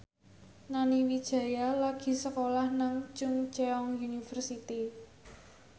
Nani Wijaya lagi sekolah nang Chungceong University